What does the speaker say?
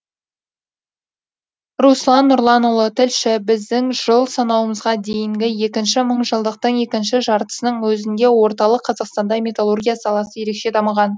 руслан нұрланұлы тілші біздің жыл санауымызға дейінгі екінші мыңжылдықтың екінші жартысының өзінде орталық қазақстанда металлургия саласы ерекше дамыған